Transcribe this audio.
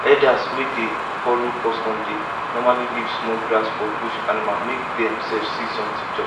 herders wey dey follow custom dey normally leave small grass for bush animal make dem sef see something chop